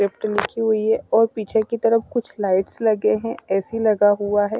लिखी हुई है और पीछे की तरफ कुछ लाइट्स लगे हैं ए_सी लगा हुआ है।